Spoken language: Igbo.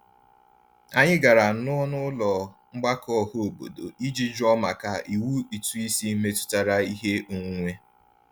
Anyị gara n'ọnụụlọ mgbakọ ọhaobodo iji jụọ maka iwu ụtụisi metụtara ihe onwunwe.